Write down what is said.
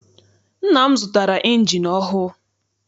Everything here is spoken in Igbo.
Nna m zụtara injini ọhụụ.